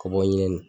Kɔ bɔ ɲinɛni